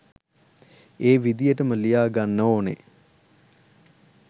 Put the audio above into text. ඒ විදිහටම ලියා ගන්න ඕනෙ.